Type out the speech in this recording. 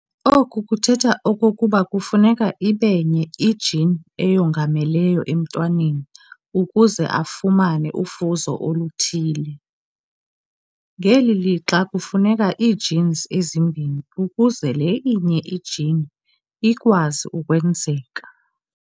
Oku kuthetha okokuba kufuneka ibenye i-gene eyongamelayo emntwaneni ukuze afumane ufuzo oluthile, ngeli lixa kufuneka ii-genes ezimbini ukuze le inye i-gene ikwazi ukwenzeka.